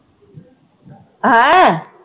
ਹੈਂ?